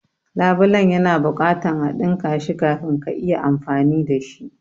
labulen ya na buƙatan a dinka shi kafin ka iya amfani dashi.